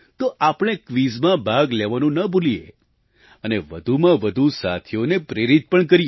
તો આપણે ક્વિઝમાં ભાગ લેવાનું ન ભૂલીએ અને વધુમાં વધુ સાથીઓને પ્રેરિત પણ કરીએ